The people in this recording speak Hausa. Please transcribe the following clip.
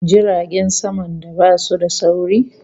Jiragen saman da basu da sauri